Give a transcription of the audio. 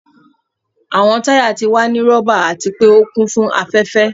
Awọn taya ti wa ni rọba ati pe o kun fun afẹfẹ.